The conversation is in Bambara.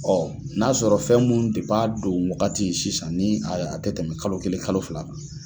Ɔ n'a sɔrɔ fɛn munnu de b'a don wagati sisan ni a te tɛmɛ kalo kelen kalo fila kan